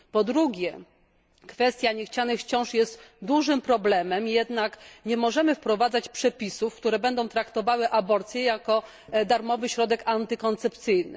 Po drugie, kwestia niechcianych ciąż jest dużym problemem, jednak nie możemy wprowadzać przepisów, które będą traktowały aborcję jako darmowy środek antykoncepcyjny.